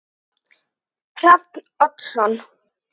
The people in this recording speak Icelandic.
Hrafn Oddsson